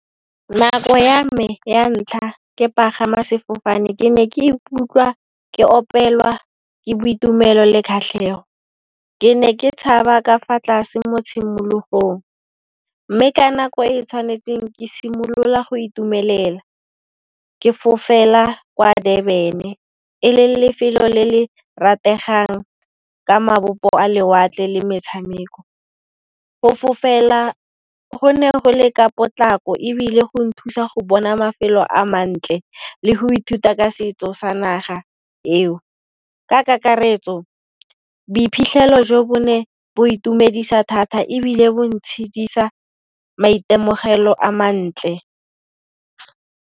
Nako ya me ya ntlha ke pagama sefofane ke ne ke ikutlwa ke opelwa ke boitumelo le kgatlhego, ke ne ke tshaba ka fa tlase mo tshimologong. Mme ka nako e e tshwanetseng ke simolola go itumelela ke fofela kwa Durban e le lefelo le le rategang ka mabopo a lewatle le metshameko go fofela go ne go le ka potlako ebile go nthusa go bona mafelo a mantle le go ithuta ka setso sa naga eo. Ka kakaretso boiphitlhelo jo bo ne bo itumedisa thata ebile bo ntshidisa maitemogelo a mantle.